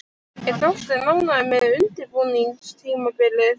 Er Þorsteinn ánægður með undirbúningstímabilið?